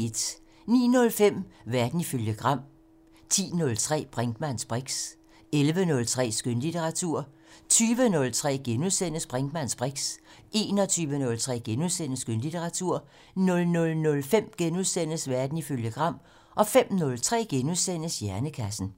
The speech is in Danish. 09:05: Verden ifølge Gram 10:03: Brinkmanns briks 11:03: Skønlitteratur 20:03: Brinkmanns briks * 21:03: Skønlitteratur * 00:05: Verden ifølge Gram * 05:03: Hjernekassen *